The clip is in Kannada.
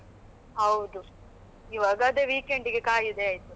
ಹೌದು ಈವಾಗ ಅದೇ weekend ಗೆ ಕಾಯುದೇ ಆಯ್ತು.